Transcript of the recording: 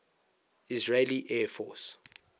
israeli air force